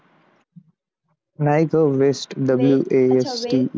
नाही ग, West w a s t